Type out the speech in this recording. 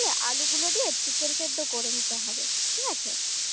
রাখলে আলুগুলো দিয়ে chicken সেদ্ধ করে নিতে হবে ঠিক আছে